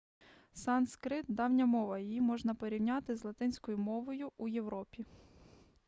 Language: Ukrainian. санскрит давня мова її можна порівняти з латинською мовою у європі